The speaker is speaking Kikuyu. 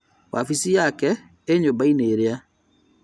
Wabici yake ĩ nyũmba-inĩ ĩrĩa